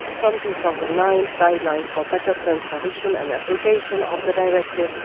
in 2009, guidelines for better transposition and application of the Directive